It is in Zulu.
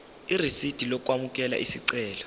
irisidi lokwamukela isicelo